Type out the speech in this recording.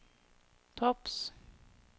topps